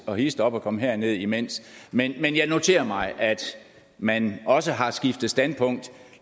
og hist op og kom herned men men jeg noterer mig at man også har skiftet standpunkt